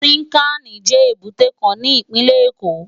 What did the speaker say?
Tinkáni jè ébùté kán ni ipinlè Ékó